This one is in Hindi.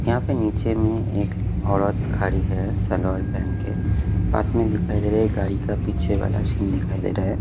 यहाँ पे नीचे में एक औरत खड़ी है सलवार पहन के पास में दिखाई दे रहा है गाड़ी का पीछे वाला सीन दिखाई दे रहा है।